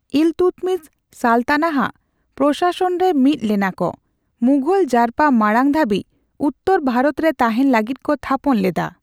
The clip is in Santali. ᱤᱞᱛᱩᱫᱢᱤᱥ ᱥᱟᱞᱛᱟᱱᱟ ᱟᱜ ᱯᱚᱨᱚᱥᱟᱥᱚᱱ ᱨᱮ ᱢᱤᱫ ᱞᱮᱱᱟ ᱠᱚ, ᱢᱩᱜᱷᱚᱞ ᱡᱟᱨᱯᱟ ᱢᱟᱲᱟᱝ ᱫᱷᱟᱹᱵᱤᱡ ᱩᱛᱛᱚᱨ ᱵᱷᱟᱨᱚᱛ ᱨᱮ ᱛᱟᱦᱮᱸᱱ ᱞᱟᱹᱜᱤᱫ ᱠᱚ ᱛᱷᱟᱯᱚᱱ ᱞᱮᱫᱟ ᱾